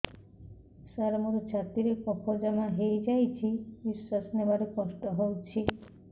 ସାର ମୋର ଛାତି ରେ କଫ ଜମା ହେଇଯାଇଛି ନିଶ୍ୱାସ ନେବାରେ କଷ୍ଟ ହଉଛି